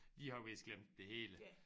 De har vist glemt det hele